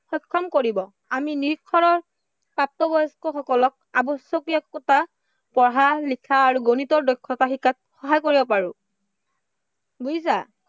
সক্ষম কৰিব। আমি প্ৰাপ্তবয়স্কসকলক আৱশ্য়কীয় কথা, পঢ়া-লিখা আৰু গণিতৰ দক্ষতা শিকাত সহায় কৰিব পাৰো। বুজিছা?